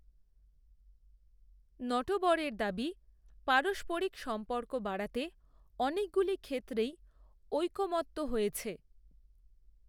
নটবরের দাবিপারস্পরিক সম্পর্ক বাড়াতেঅনেকগুলি ক্ষেত্রেইঐকমত্য হয়েছে